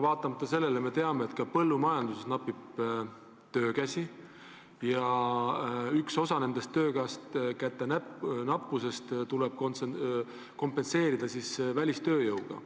Vaatamata sellele me teame, et ka põllumajanduses napib töökäsi ja üks osa sellest töökäte nappusest tuleb kompenseerida välistööjõuga.